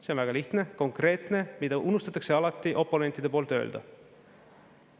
See on väga lihtne, konkreetne, mida unustatakse alati oponentide poolt öelda.